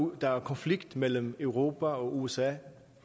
der er konflikt mellem europa og usa